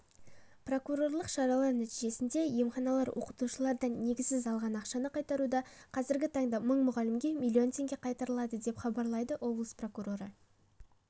прокурорлық шаралар нәтижесінде емханалар оқытушылардан негізсіз алған ақшаны қайтаруда қазіргі таңда мың мұғалімге млн теңге қайтарылды деп хабарлайды облыс прокуроры